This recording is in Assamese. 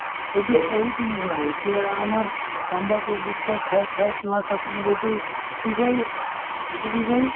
সেইটো বহুত এতিয়া আমাৰ তাম্বাকু টখা খাই খাই plus আপোনাৰ এইটো কি কয় এইটো কি কয়